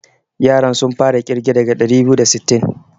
Yaran sun fara ƙirge daga ɗari biyu da sittin.